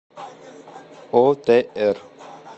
отр